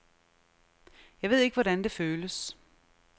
Jeg ved ikke, hvordan det føles.